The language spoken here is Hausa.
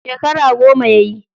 Shekara goma yayi.